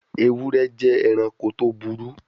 Ewure je eranko to buru